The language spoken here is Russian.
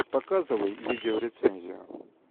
показывай видеорецензию